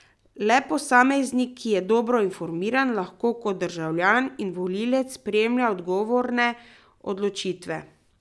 Le posameznik, ki je dobro informiran, lahko kot državljan in volivec sprejema odgovorne odločitve.